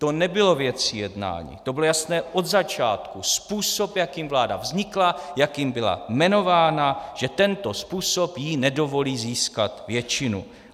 To nebyla věc jednání, to bylo jasné od začátku - způsob, jakým vláda vznikla, jakým byla jmenována, že tento způsob jí nedovolí získat většinu.